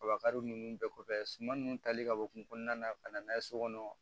Kabakari ninnu bɛɛ kɔfɛ suman nunnu tali ka bɔ kun kɔnɔna na ka na n'a ye so kɔnɔ